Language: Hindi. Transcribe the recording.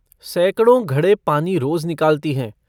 सैकड़ों घड़े पानी रोज निकालती हैं।